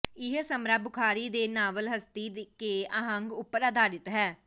ਇਹ ਸਮਰਾ ਬੁਖਾਰੀ ਦੇ ਨਾਵਲ ਹਸਤੀ ਕੇ ਆਹੰਗ ਉੱਪਰ ਆਧਾਰਿਤ ਹੈ